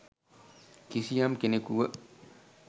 කිසියම් කෙනෙකුව